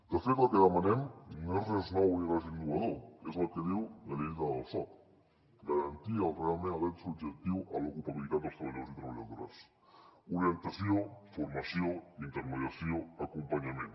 de fet el que demanem no és res nou ni res innovador és el que diu la llei del soc garantir realment el dret subjectiu a l’ocupabilitat de treballadors i treballadores orientació formació intermediació acompanyament